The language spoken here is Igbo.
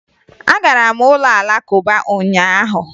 Agara m ụlọ Alakụba ụnyaahụ